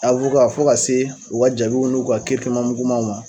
fo ka se o ka jaabiw n'u ka mugumaw ma.